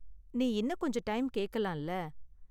நீ இன்னும் கொஞ்சம் டைம் கேக்கலாம் இல்ல?